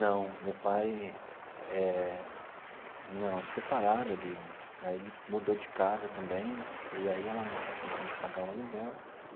Não, meu pai eh, não, se separaram, ele aí ele mudou de casa também, e aí ela não tinha condições de pagar o aluguel.